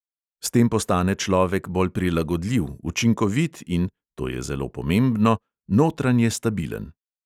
S tem postane človek bolj prilagodljiv, učinkovit in – to je zelo pomembno – notranje stabilen.